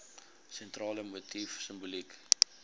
sentrale motief simboliek